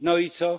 No i co?